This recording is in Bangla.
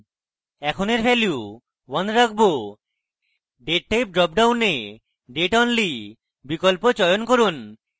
in we value 1 রাখবো date type dropডাউনে date only বিকল্প চয়ন করুন